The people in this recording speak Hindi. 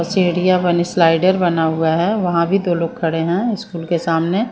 सीढ़िया वाली स्लाइडर बना हुआ है वहाँ भी दो लोग खड़े हैं स्कूल के सामने।